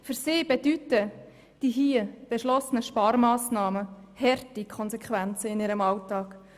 Für sie haben die hier beschlossenen Sparmassnahmen harte Konsequenzen in ihrem Alltag.